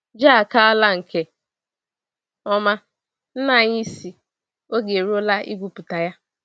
Ji akala nke oma; nna anyị sị oge eruola igwu pụta ya.